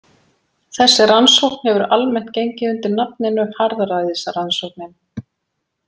Þessi rannsókn hefur almennt gengið undir nafninu harðræðisrannsóknin.